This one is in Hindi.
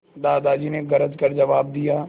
दादाजी ने गरज कर जवाब दिया